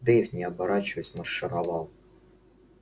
дейв не оборачиваясь маршировал